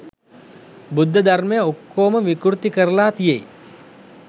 බුද්ධ ධර්මය ඔක්කොම විකුර්ති කරලා තියෙයි.